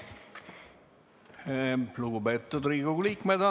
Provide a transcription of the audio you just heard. Lugupeetud Riigikogu liikmed!